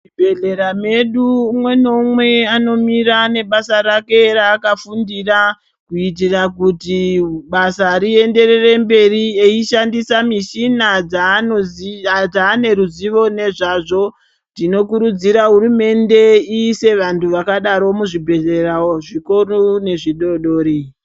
Muzvibhedhlera medu umwe neumwe anomira nebasa rake raakafundira, kuitira kuti basa rienderere mberi , eishandisa mishina dzaanozi dzaane ruzivo nezvazvo. Tinokurudzira hurumende iise antu akadaro muzvibhedhlera zvikuru nazvidodori.